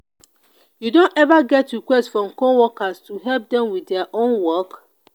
you don ever get request from coworker to help dem with dia own work?